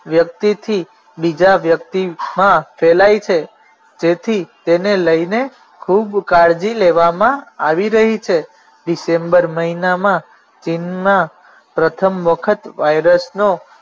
વ્યક્તિથી બીજા વ્યક્તિમાં ફેલાય છે તેથી તેને લઈને ખૂબ કાળજી લેવામાં આવી રહી છે ડિસેમ્બર મહિનામાં ચિનમા પ્રથમ વખત વાયરસનો